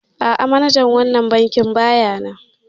A'a manajan wannan bankin baya nan